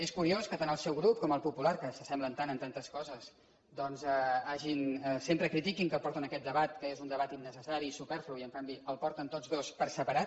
és curiós que tant el seu grup com el popular que s’assemblen tant en tantes coses doncs sempre critiquin que portin aquest debat que és un debat innecessari i superflu i en canvi el porten tots dos per separat